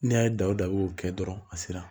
N'a y'a da o dan y'o kɛ dɔrɔn a sera